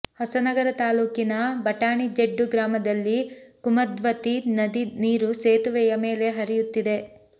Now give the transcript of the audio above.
ಹೊಸನಗರ ತಾಲೂಕಿನ ಬಟಾಣಿ ಜೆಡ್ಡು ಗ್ರಾಮದಲ್ಲಿ ಕುಮದ್ವತಿ ನದಿ ನೀರು ಸೇತುವೆಯ ಮೇಲೆ ಹರಿಯುತ್ತಿದೆ